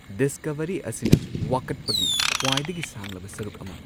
Discovery ꯑꯁꯤꯅ ꯋꯥꯀꯠꯄꯒꯤ ꯈ꯭ꯋꯥꯏꯗꯒꯤ ꯁꯥꯡꯂꯕ ꯁꯔꯨꯛ ꯑꯃ꯫